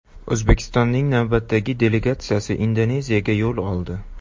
O‘zbekistonning navbatdagi delegatsiyasi Indoneziyaga yo‘l oldi .